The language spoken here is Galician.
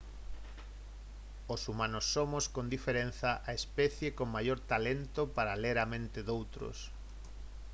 os humanos somos con diferenza a especie con maior talento para ler a mente doutros